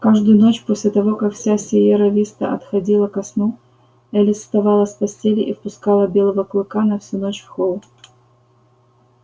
каждую ночь после того как вся сиерра виста отходила ко сну элис вставала с постели и впускала белого клыка на всю ночь в холл